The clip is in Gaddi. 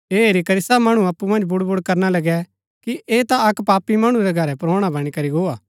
ऐह हेरी करी सब मणु अप्पु मन्ज बुड़बुड करणा लगै कि ऐह ता अक्क पापी मणु रै घरै परोणा बणी करी गो हा